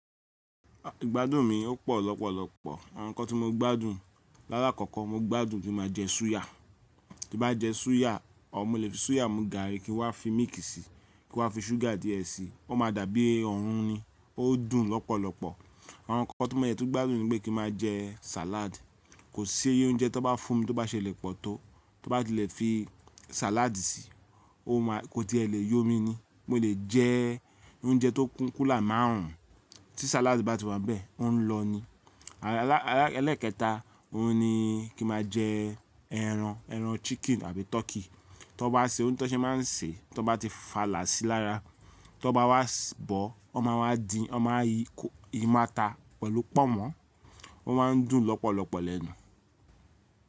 Igbádùn mi ò pọ̀ lọ́pọ̀lọpọ̀. Àwọn nǹkan tí mo gbádùn lálá kọ́kọ́, mo gbádùn kí ma jẹ súyà. Tii bá jẹ súyà, or mọ lè fi súyà mu gààrí kí n wá fi mílìkì síi, kí n wá fi ṣúgà díẹ̀ síi, ó ma dàbí ọ̀hun ni, ó dùn lọ́pọ̀lọpọ̀. Àwọn nǹkan ti mo de tun gbádùn ni pé kí n máa jẹ sàlád. Kò sí oúnjẹ tó bá fún mi tó bá ṣe lè pọ̀ tó, tó bá ti lè fi sàlád síi, ó máa kó tí ẹ lè yọ mi ni. Mo lè jẹ oúnjẹ tó kún kùla márùn ún tí sàládì bá ti wà bẹ́ẹ̀, ọ́ ń lọ ni. Elẹ́ kẹta, òhun ni kí n máa jẹ ẹran, ẹran chicken àbí turkey. To bá ṣe o to ṣé máa ń ṣe, to bá ti fàlà síi lára, to bá wá bọ̀, wọ́n máa wá dín, wọ́n máa yi màta pẹ̀lú pọ̀nmọ́, ó máa ń dùn lọ́pọ̀lọpọ̀ lẹ́nu.